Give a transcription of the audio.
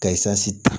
Ka ta